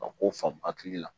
Ka ko famu hakili la